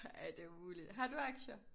Ej det umuligt. Har du aktier?